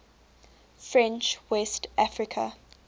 french west africa